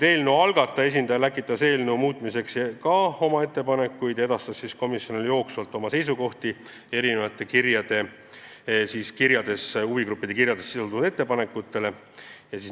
Eelnõu algataja esindaja läkitas eelnõu muutmiseks ka oma ettepanekuid ja edastas komisjonile jooksvalt oma seisukohti huvigruppide kirjades sisalduvate ettepanekute kohta.